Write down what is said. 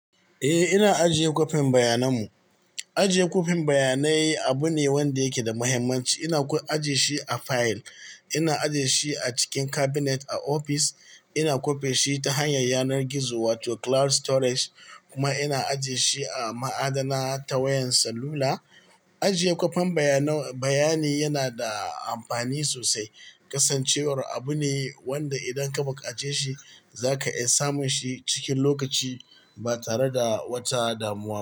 Eh, ina ajiye kwafin bayanan mu. Ajiye kwafin bayanai abu ne wanda yake da muhimmanci. Ina ajiye shi a fayil, ina ajiye shi a cikin cabinet a ofis, ina kwafe shi ta hanyar yanar gizo wato cloud storage kuma ina ajiye shi a ma'adana ta wayan salula. Ajiye kwafin bayani yana da amfani sosai. Kasancewar abu ne wanda idan ka buƙace shi za ka iya samun shi cikin lokaci ba tare da wata damuwa.